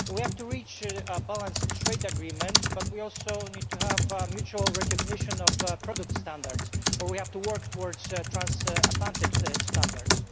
We have to reach a balanced trade agreement, but we also need to have mutual recognition of product standards or we have to work towards transatlantic standards.